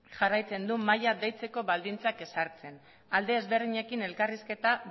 jarraitzen du mahaia deitzeko baldintzak ezartzen alde ezberdinekin elkarrizketa